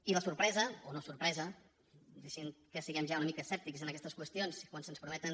i la sorpresa o no sorpresa deixin que siguem ja una mica escèptics en aquestes qüestions quan se’ns prometen